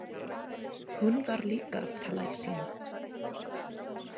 Hún var líka að tala í síma.